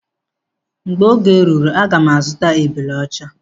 Mgbe oge ruru aga m azuta ebule ọcha.